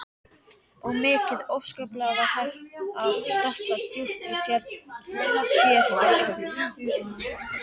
Og mikið óskaplega var hægt að sökkva djúpt í sérgæsku.